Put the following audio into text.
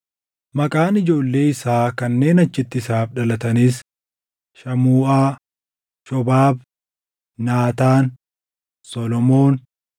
Maqaan ijoollee isaa kanneen achitti isaaf dhalataniis: Shamuuʼaa, Shobaab, Naataan, Solomoon,